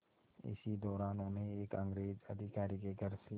इसी दौरान उन्हें एक अंग्रेज़ अधिकारी के घर से